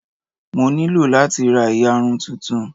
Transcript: Mo nílò láti ra ìyarun tuntun.